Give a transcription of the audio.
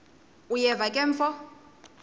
uyeva ke mfo